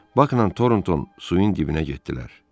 Bakla Toronton suyun dibinə getdilər.